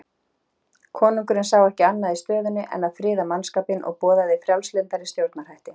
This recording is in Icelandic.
Konungurinn sá ekki annað í stöðunni en að friða mannskapinn og boðaði frjálslyndari stjórnarhætti.